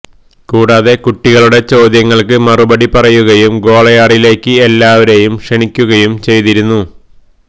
കൂടാതെ കുട്ടികളുടെ ചോദ്യങ്ങള്ക്ക് മറുപടി പറയുകയും ഗ്വാളിയാറിലേക്ക് എല്ലാവരെയും ക്ഷണിക്കുകയും ചെയ്തിരുന്നു